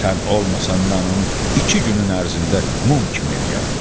Sən olmasan mən onu iki günün ərzində mum kimi eləyərəm.